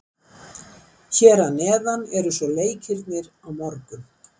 Hér að neðan eru svo leikirnir á morgun.